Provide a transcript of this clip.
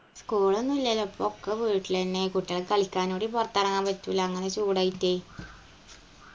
school ഒന്നുല്ലല്ലോ ഇപ്പൊക്കെ വീട്ടിലെന്നെ കുട്ടികൾക്ക് കളിയ്ക്കാനൂടി പൊറത്തെറങ്ങാൻ പറ്റൂല അങ്ങന ചൂടായിട്ട്